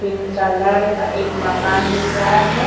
Pink colour का एक मकान दिख रहा है।